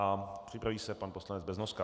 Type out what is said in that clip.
A připraví se pan poslanec Beznoska.